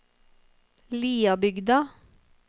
Liabygda